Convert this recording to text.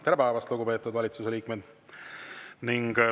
Tere päevast, lugupeetud valitsuse liikmed!